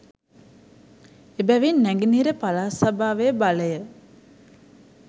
එබැවින් නැගෙනහිර පළාත් සභාවේ බලය